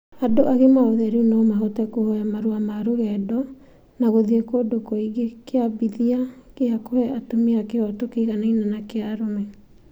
Andũ agima othe rĩu no mahote kũhoya marũa ma rũgendo, na gũthiĩ kũndũ kũingĩ, kĩambithia gĩa kũhe atumia kĩhooto kĩiganaine na kĩa arũme.